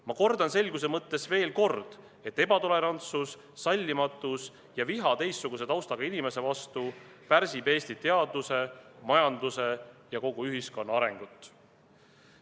Ma kordan selguse mõttes veel kord, et ebatolerantsus, sallimatus ja viha teistsuguse taustaga inimeste vastu pärsib Eesti teaduse, majanduse ja kogu ühiskonna arengut.